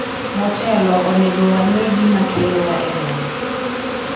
motelo, onego wang'e gima kelowa e romo